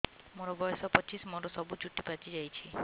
ମୋର ବୟସ ପଚିଶି ମୋର ସବୁ ଚୁଟି ପାଚି ଯାଇଛି